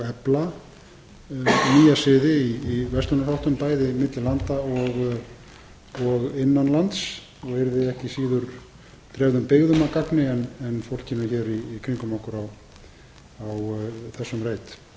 efla nýja siði í verslunarháttum bæði milli landa og innan lands og yrði ekki síður dreifðum byggðum að gangi en fólkinu hér í kringum okkur á þessum reit ég læt